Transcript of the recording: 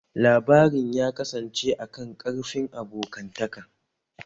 Labarin ya kasance a kan ƙarfin abokantaka